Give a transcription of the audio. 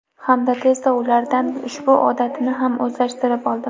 Hamda tezda ulardan ushbu odatini ham o‘zlashtirib oldim.